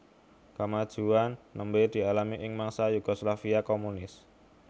Kamajuan nembé dialami ing mangsa Yugoslavia komunis